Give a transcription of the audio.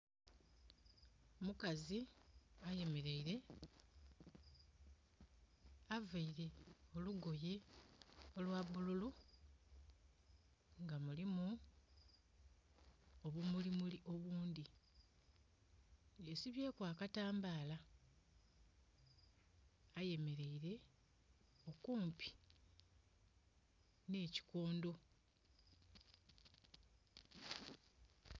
Omukazi ayemeleile, availe olugoye olwa bululu nga mulimu obumulimuli obundhi. Yesibyeku akatambaala. Ayemeleile kumpi nh'ekikondo.